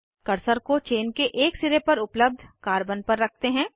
cursor को chain के एक सिरे पर उपलब्ध कार्बन पर रखते हैं